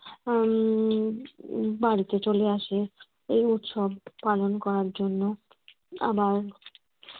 উম বাড়িতে চলে আসে এই উৎসব পালন করার জন্য আবার